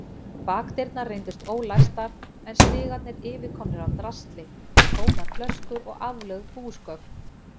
Bakdyrnar reyndust ólæstar en stigarnir yfirkomnir af drasli, tómar flöskur og aflögð búsgögn.